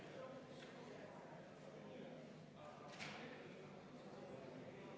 Palun võtta seisukoht ja hääletada!